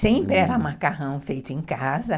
Sempre era macarrão feito em casa.